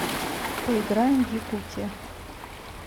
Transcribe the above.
поиграем в якутия